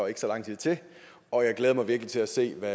ikke så lang tid til og jeg glæder mig virkelig til at se hvad